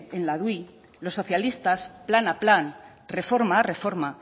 en la dui los socialistas plan a plan reforma a reforma